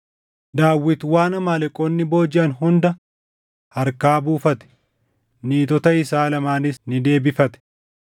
Daawit waan Amaaleqoonni boojiʼan hunda harkaa buufate; niitota isaa lamaanis ni deebifate.